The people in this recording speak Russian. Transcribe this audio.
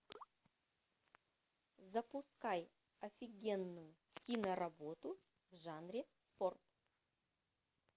запускай офигенную киноработу в жанре спорт